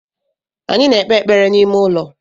Anyị na-ekpe ekpere n’ime ụlọ